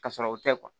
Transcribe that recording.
Ka sɔrɔ o tɛ